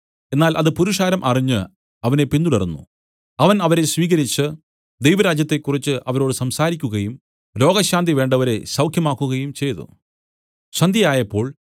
എന്നാൽ അത് പുരുഷാരം അറിഞ്ഞ് അവനെ പിന്തുടർന്നു അവൻ അവരെ സ്വീകരിച്ചു ദൈവരാജ്യത്തെക്കുറിച്ച് അവരോട് സംസാരിക്കുകയും രോഗശാന്തി വേണ്ടവരെ സൌഖ്യമാക്കുകയും ചെയ്തു